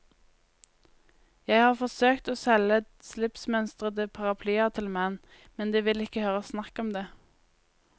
Jeg har forsøkt å selge slipsmønstrede paraplyer til menn, men de vil ikke høre snakk om det.